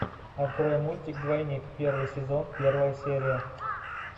открой мультик двойник первый сезон первая серия